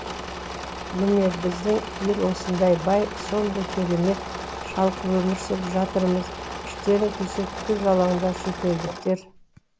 міне біздең ел сондай бай сондай керемет шалқып өмір сүріп жатырмыз іштерің күйсе тұз жалаңдар шетелдіктер